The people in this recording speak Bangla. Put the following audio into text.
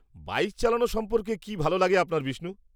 -বাইক চালানো সম্পর্কে কী ভালো লাগে আপনার বিষ্ণু?